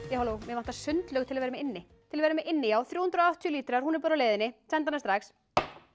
já halló mig vantar sundlaug til að vera með inni til að vera með inni já þrjú hundruð og áttatíu lítrar hún er á leiðinni sendi hana strax